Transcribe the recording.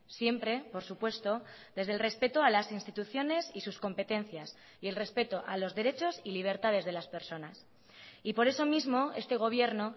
siempre por supuesto desde el respeto a las instituciones y sus competencias y el respeto a los derechos y libertades de las personas y por eso mismo este gobierno